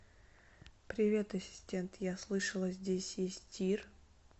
привет ассистент я слышала здесь есть тир